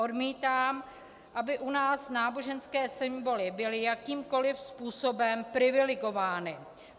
Odmítám, aby u nás náboženské symboly byly jakýmkoli způsobem privilegovány.